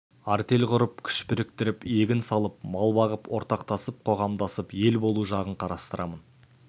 артель құрып күш біріктіріп егін салып мал бағып ортақтасып қоғамдасып ел болу жағын қарастырамын